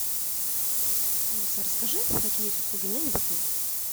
алиса расскажи какие есть услуги няни в отеле